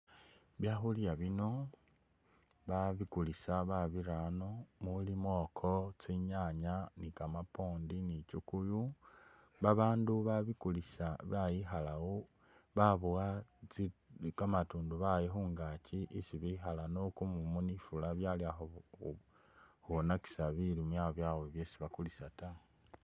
Byakhulya bino babikulisa babira ano muli mwoko, tsinyaanya, ni kamapwondi, chukuyu, babaandu baboya tsi kamatundubali bayi khungaaki isi bikhala no kumumu byalakhwonekisa bilimwa byabwe byesi bakulisa ta.